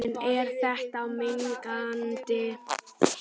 En er þetta mengandi?